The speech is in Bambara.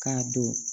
K'a don